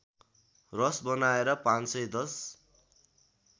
रस बनाएर ५१०